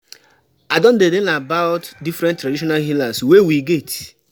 I don dey learn about different traditional healers wey we get.